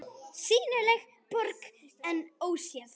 SÝNILEG BORG EN ÓSÉÐ